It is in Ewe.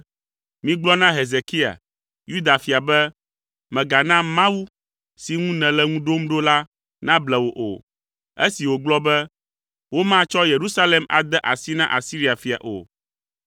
“Migblɔ na Hezekia, Yuda fia be, ‘Mègana mawu si ŋu nèle ŋu ɖom ɖo la nable wò o,’ esi wògblɔ be, ‘Womatsɔ Yerusalem ade asi na Asiria fia o.’